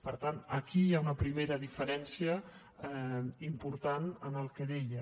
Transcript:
per tant aquí hi ha una primera diferència important en el que deia